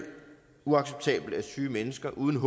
uacceptabelt at syge mennesker uden